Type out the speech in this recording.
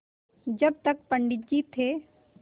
जब तक पंडित जी थे